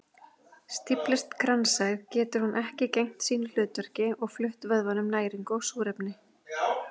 Stíflist kransæð getur hún ekki gegnt sínu hlutverki og flutt vöðvanum næringu og súrefni.